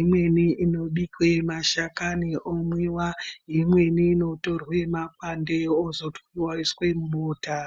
imweni inobikwa mashakani yomwiwa, imweni inotorwa makwande otwiwa oiswa mubota.